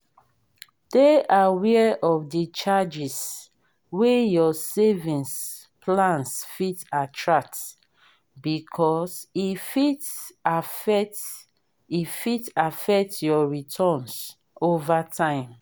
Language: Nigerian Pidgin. dey aware of the charges wey your savings plans fit attract because e fit affect e fit affect your returns over time